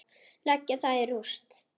Leggja það í rúst!